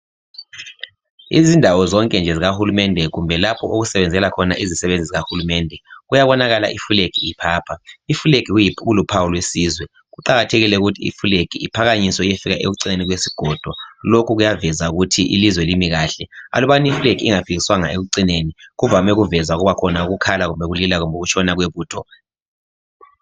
Izindawo zonke nje zikahulumende kumbe lapho okusebenzela khona izisebenzi zikahulumende . Kuyabonakala iflag iphapha .Iflag kuluphawu lwesizwe .Kuqakathekile ukuthi iflag iphakanyiswe iyefika ekucineni kwesigodo lokhu kuyaveza ukuthi ilizwe limi kahle .Alubana iflag ingafikiswanga ekucineli kuvame ukuveza ukubakhona ukukhala kumbe ukulila kumbe ukutshona kwebutho .